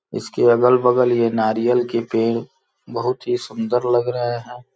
इसके अगल-बगल यह नारियल के पेड़ बहुत ही सुंदर लग रहे हैं।